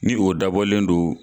Ni o dabɔlen don